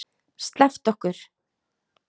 SLEPPTU OKKUR!